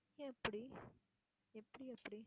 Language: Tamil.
எப்படி எப்படி அப்படி